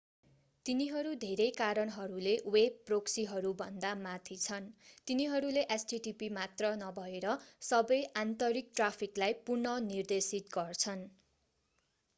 तिनीहरू धेरै कारणहरूले वेब प्रोक्सीहरू भन्दा माथि छन् तिनीहरूले http मात्र नभएर सबै आन्तरिक ट्राफिकलाई पुनः निर्देशित गर्छन्